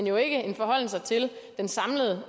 jo ikke en forholden sig til den samlede